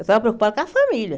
Eu estava preocupada com a família.